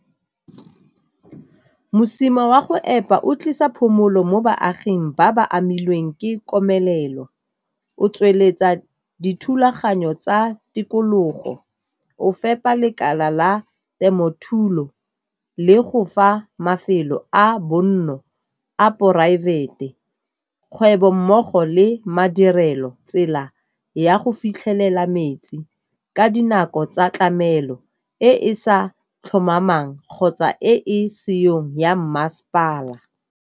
Mosima wa go epa o tlisa phomolo mo baaging ba ba amilweng ke komelelo, o tsweletsa dithulaganyo tsa tikologo, o fepa lekala la temothuo le go fa mafelo a bonno a poraefete, kgwebo mmogo le madirelo tsela ya go fitlhelela metsi ka dinako tsa tlamelo e e sa tlhomamang kgotsa e seyong ya mmasepala.